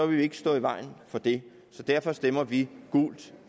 vi ikke stå i vejen for det så derfor stemmer vi gult